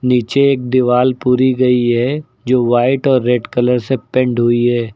नीचे एक दीवार पूरी गई है जो व्हाइट और रेड कलर से पेंट हुई है।